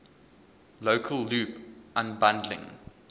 local loop unbundling